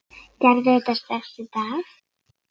Gerðu þetta strax í dag!